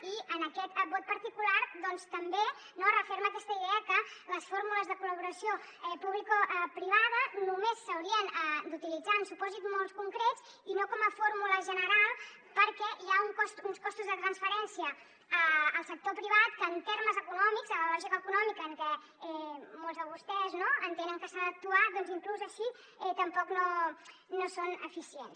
i en aquest vot particular doncs també no es referma aquesta idea que les fórmules de col·laboració publicoprivada només s’haurien d’utilitzar en supòsits molt concrets i no com a fórmula general perquè hi ha uns costos de transferència al sector privat que en termes econòmics en la lògica econòmica en què molts de vostès no entenen que s’ha d’actuar doncs inclús així tampoc no són eficients